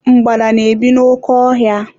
Mgbada na-ebi n'oke ọ hia.